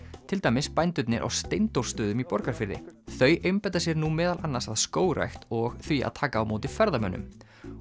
til dæmis bændurnir á Steindórsstöðum í Borgarfirði þau einbeita sér nú meðal annars að skógrækt og því að taka á móti ferðamönnum